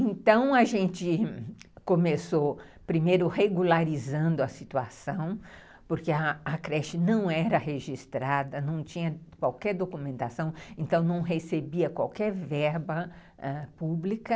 Então a gente começou primeiro regularizando a situação, porque a a creche não era registrada, não tinha qualquer documentação, então não recebia qualquer verba ãh pública.